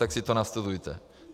Tak si to nastudujte.